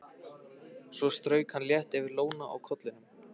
Svo strauk hann létt yfir lóna á kollinum.